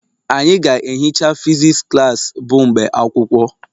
Anyị ga-ehicha physics klas bụ mgbe akwụkwọ